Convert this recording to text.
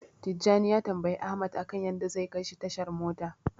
Tijjani ya tambayi Ahmad akan yadda zai kaishi tashar mota.